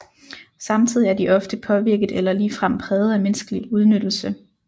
Samtidig er de ofte påvirket eller ligefrem præget af menneskelig udnyttelse